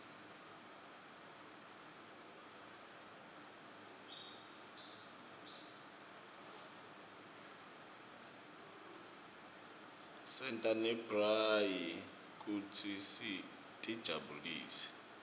senta nemabrayi kute sitijabulise